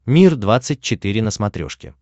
мир двадцать четыре на смотрешке